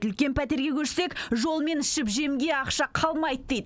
үлкен пәтерге көшсек жол мен ішіп жемге ақша қалмайды дейді